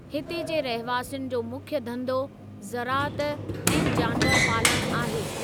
हिते जे रहवासियुनि जो मुख्य धंधो ज़राअत ऐं जानवरु पालणु आहे।